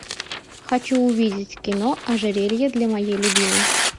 хочу увидеть кино ожерелье для моей любимой